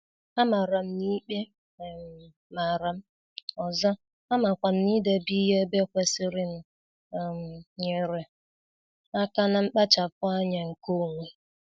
Amara m n'ikpe um maram, ọzọ, amakwam n'idebe ihe ebe kwesịrịnụ um nyere aka na nkpachapu anya nke onwe.